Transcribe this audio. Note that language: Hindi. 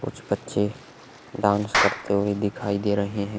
कुछ बच्चें डांस करते हुए दिखाई दे रहे है।